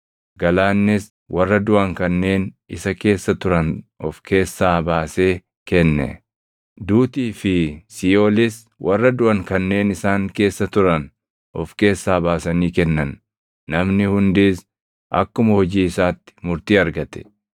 Galaannis warra duʼan kanneen isa keessa turan of keessaa baasee kenne; duutii fi Siiʼoolis warra duʼan kanneen isaan keessa turan of keessaa baasanii kennan; namni hundis akkuma hojii isaatti murtii argate.